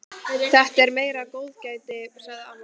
Þetta er meira góðgætið, sagði amma.